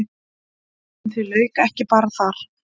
En því lauk ekki bara þar.